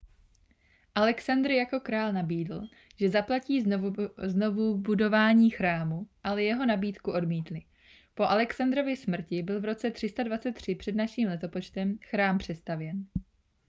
alexandr jako král nabídl že zaplatí znovuvybudování chrámu ale jeho nabídku odmítli po alexandrově smrti byl v roce 323 př n l chrám přestavěn